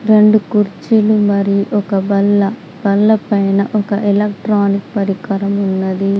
రెండు కుర్చీలు మరియు ఒక బల్ల బల్ల పైన ఒక ఎలక్ట్రానిక్ పరికరం ఉన్నది.